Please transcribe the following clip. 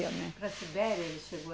Para a Sibéria ele chegou a